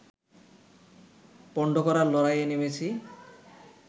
পন্ড করার লড়াইয়ে নেমেছি